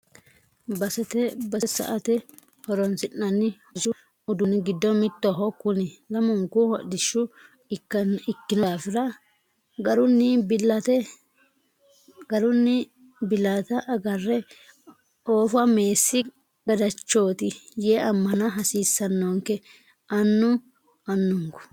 Basete base sa"ate horonsi'nanni hodhishu uduuni giddo mittoho kuni lamunku hodhishshu ikkino daafira garunni bilatta agare oofa meessi gadachoti yee amana hasiisanonke anu anukku.